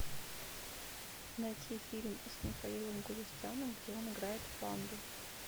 найти фильм с михаилом галустяном где он играет панду